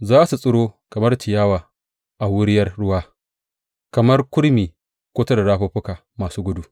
Za su tsiro kamar ciyawa a wuriyar ruwa, kamar kurmi kusa da rafuffuka masu gudu.